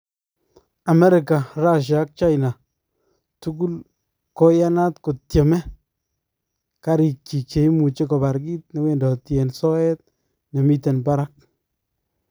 Amerika, Russia , ak China tukul koiyanat kotyeme kariik chik cheimuchi kobaar kiit newendoti en soyeet nemiten barak